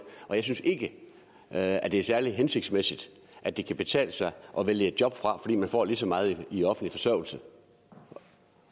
og jeg synes ikke at det er særlig hensigtsmæssigt at det kan betale sig at vælge et job fra fordi man får lige så meget i offentlig forsørgelse